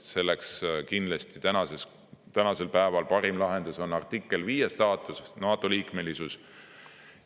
Sellepärast on kindlasti parim lahendus artikkel 5 staatuses NATO-liikmesus.